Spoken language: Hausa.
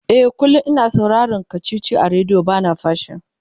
e kullum. ina sauraron kachichi a radio bana fashi